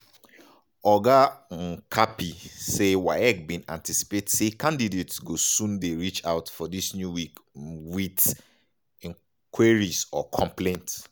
oga um kapi say waec bin anticipate say candidates go soon dey reach out for dis new week um wit queries or complaints.